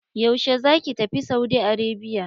Yaushe za ki tafi Saudi Arabia?